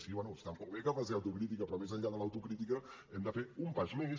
sí bé està molt bé que facin autocrítica però més enllà de l’autocrítica hem de fer un pas més